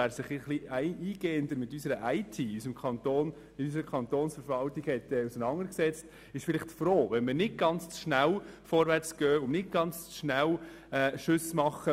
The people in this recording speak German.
Wer sich etwas eingehender mit der IT der Kantonsverwaltung auseinandersetzt, ist vielleicht froh, wenn man nicht zu schnell vorwärts geht und Schnellschüsse abfeuert.